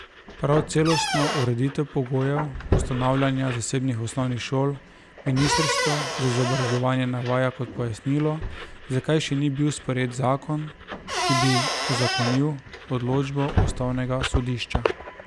Prav celostno ureditev pogojev ustanavljanja zasebnih osnovnih šol ministrstvo za izobraževanje navaja kot pojasnilo, zakaj še ni bil sprejet zakon, ki bi uzakonil odločbo ustavnega sodišča.